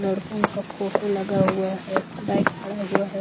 लड़कों का फोटो लगा हुआ है बाइक खड़ा हुआ है।